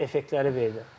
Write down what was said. Hansısa bir effektləri verdi.